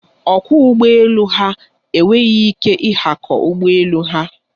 Ọkwọ ụgbọ elu ha enweghị ike ịhakọ ụgbọ elu ha.